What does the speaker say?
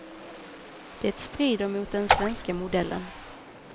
Det strider mot den svenska modellen.